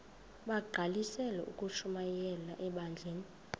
bagqalisele ukushumayela ebandleni